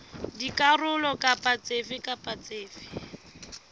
dikarolo dife kapa dife tse